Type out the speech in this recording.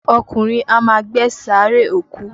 Ọkùnrin á ma gbẹ́ sààréè òkú.